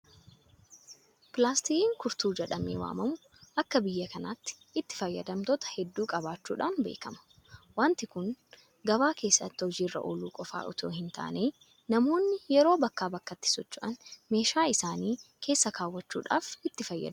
Pilaastikiin kurtuu jedhamee waamamu akka biyya kanaatti itti fayyada. toota hedduu qabaachuudhaan beekama. Waanti kun gabaa keessatti hojii irra ooluu qofa itoo hintaane namoonni yeroo bakkaa bakkatti socho'an meeshaa isaanii keessa keewwachuudhaaf itti fayyadamu.